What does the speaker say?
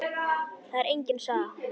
Það er engin saga.